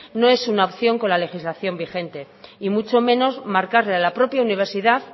no es una opción con la legislación vigente y mucho menos marcarle a la propia universidad